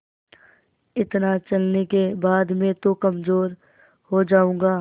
इतना चलने के बाद मैं तो कमज़ोर हो जाऊँगा